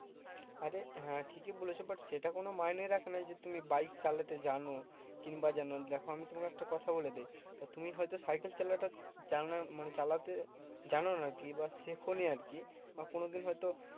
তাহলে হ্যাঁ ঠিকই বলেছো but সেটা কোনো মাইনে রাখে না যে তুমি বাইক চালাতে জানো কিংবা জানো নি। দেখো আমি তোমাকে একটা কথা বলে দিই, তো তুমি হয়তো সাইকেল চালা টা যানা মানে চালাতে জানো না আরকি বা শেখোনি আরকি বা কোনোদিন হয়তো